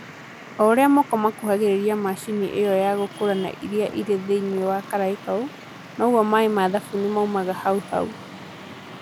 O ũrĩa moko marakuhĩrĩria macini ĩo ya gũkũrana ĩrĩa ĩrĩ thĩinĩ wa karai kau, noguo maĩ ma thabuni maumaga hau hau.